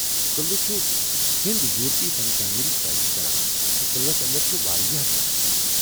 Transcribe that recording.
قلعہ چھ ہند یورپی فن تعمیرٕچ پیروی کران تہٕ قلعس اندر چھ واریاہ ڈھانچہٕ